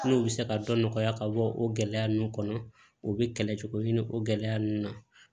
N'u bɛ se ka dɔ nɔgɔya ka bɔ o gɛlɛya ninnu kɔnɔ u bɛ kɛlɛ cogo ɲini o gɛlɛya ninnu na